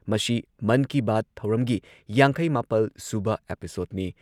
ꯃꯁꯤ ꯃꯟ ꯀꯤ ꯕꯥꯠ ꯊꯧꯔꯝꯒꯤ ꯌꯥꯡꯈꯩ ꯃꯥꯄꯜ ꯁꯨꯕ ꯑꯦꯄꯤꯁꯣꯗꯅꯤ